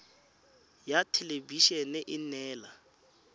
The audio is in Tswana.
ya thelebi ene e neela